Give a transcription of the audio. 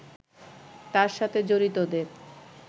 তার সাথে জড়িতদের